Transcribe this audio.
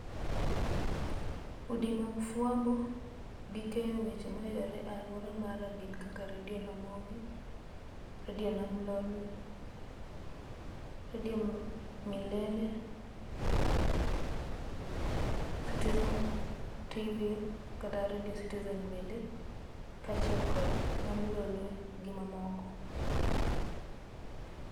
Udi mag fuambo, gi keyo weche mayudore e alwora mara gin kaka redio ramogi, redio nam lolwe, redio milele citizen tv, kata redio citizen bende, kachiel kod nam lolwe gimamoko